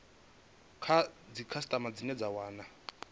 kha dzikhasitama dzine dza wana